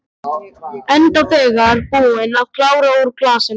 Enda þegar búin að klára úr glasinu.